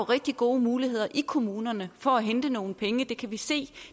rigtig gode muligheder i kommunerne for at hente nogle penge det kan vi se